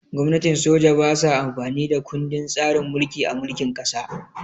Gwamnatin soja ba sa amfani da kundin tsarin mulki a mulkin ƙasa